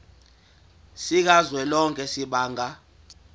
sikazwelonke samabanga r